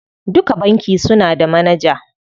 Duka banki suna da manaja.